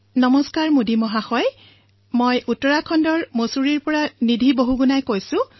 নমস্কাৰ মোদী মহোদয় মই মছুৰী উত্তৰাখণ্ডৰ পৰা নিধি বহুগুণাই কৈ আছো